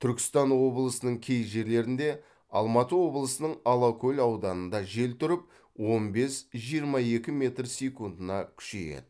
түркістан облысының кей жерлерінде алматы облысының алакөл ауданында жел тұрып он бес жиырма екі метр секундына күшейеді